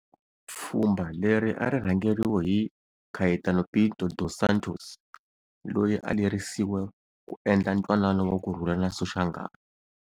Pfhumba leri a ri rhangeriwe hi Caetano Pinto dos Santos loyi a a lerisiwe ku endla ntwanano wa kurhula na Soshangan.